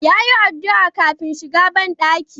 Ya yi addu'a kafin shiga banɗaki.